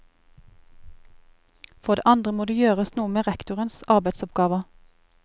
For det andre må det gjøres noe med rektorenes arbeidsoppgaver.